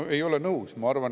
No ei ole nõus!